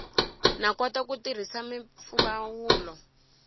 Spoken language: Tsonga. no kota ku tirhisa mimpfumawulo